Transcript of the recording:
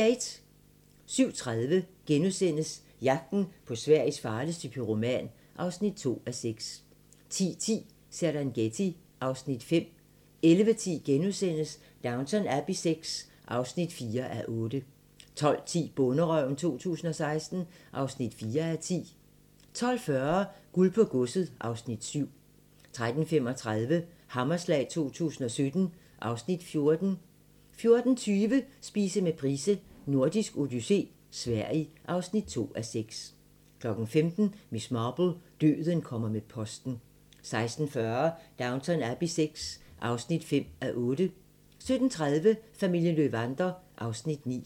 07:30: Jagten på Sveriges farligste pyroman (2:6)* 10:10: Serengeti (Afs. 5) 11:10: Downton Abbey VI (4:8)* 12:10: Bonderøven 2016 (4:10) 12:40: Guld på godset (Afs. 7) 13:35: Hammerslag 2017 (Afs. 14) 14:20: Spise med Price: Nordisk odyssé - Sverige (2:6) 15:00: Miss Marple: Døden kommer med posten 16:40: Downton Abbey VI (5:8) 17:30: Familien Löwander (Afs. 9)